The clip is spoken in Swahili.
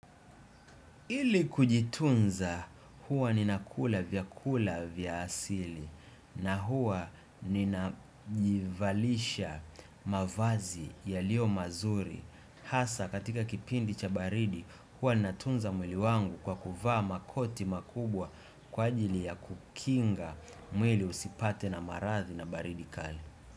Ili kujitunza huwa ninakula vyakula vya asili na huwa ninajivalisha mavazi yalio mazuri hasa katika kipindi cha baridi huwa linatunza mwili wangu kwa kuvaa makoti makubwa kwa ajili ya kukinga mwili usipatwe na maradhi na baridi kali.